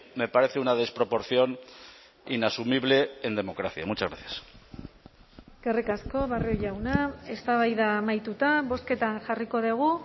me parece una desproporción inasumible en democracia muchas gracias eskerrik asko barrio jauna eztabaida amaituta bozketan jarriko dugu